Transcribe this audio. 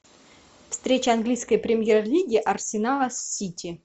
встреча английской премьер лиги арсенала с сити